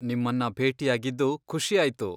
ನಿಮ್ಮನ್ನ ಭೇಟಿಯಾಗಿದ್ದು ಖುಷಿಯಾಯ್ತು.